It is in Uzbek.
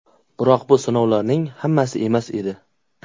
Biroq bu sinovlarning hammasi emas edi.